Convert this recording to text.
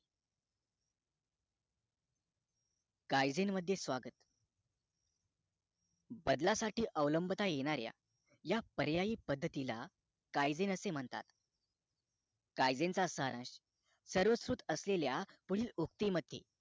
कायदेंमध्ये मध्य स्वागत! बदल साठी अवलंबता येणाऱ्या या पर्यायी पद्धतीला कायदे असे म्हणतात कायदेत असलेल्या सर्वश्रुत असलेल्या मध्ये असललेला